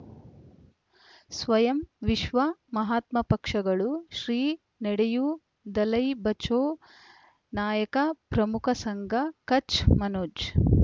ಸ್ವಯಂ ವಿಶ್ವ ಮಹಾತ್ಮ ಪಕ್ಷಗಳು ಶ್ರೀ ನಡೆಯೂ ದಲೈ ಬಚೌ ನಾಯಕ ಪ್ರಮುಖ ಸಂಘ ಕಚ್ ಮನೋಜ್